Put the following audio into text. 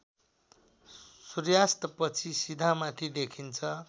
सूर्यास्तपछि सिधामाथि देखिन्छ